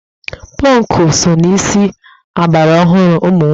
Pọnkụ so na isi ọgbaraọhụrụ ụmụ nwoke